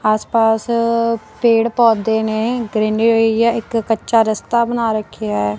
ਆਸ ਪਾਸ ਪੇੜ ਪੌਧੇ ਨੇ ਗ੍ਰੀਨਰੀ ਹੈ ਇੱਕ ਕੱਚਾ ਰਸਤਾ ਬਣਾ ਰੱਖਿਆ ਹੈ।